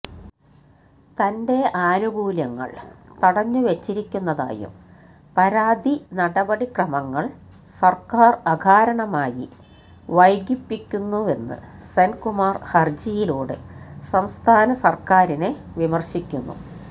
തന്റെ ആനുകൂല്യങ്ങള് തടഞ്ഞുവെച്ചിരിക്കുന്നതായും പരാതി നടപടിക്രമങ്ങള് സര്ക്കാര് അകാരണമായി വൈകിപ്പിക്കുന്നുവെന്ന് സെന്കുമാര് ഹര്ജിയിലൂടെ സംസ്ഥാന സര്ക്കാരിനെ വിമര്ശിക്കുന്നു